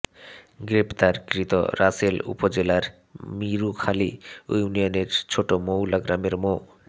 গ্রেপ্তারকৃত রাসেল উপজেলার মিরুখালী ইউনিয়নের ছোট শৌলা গ্রামের মো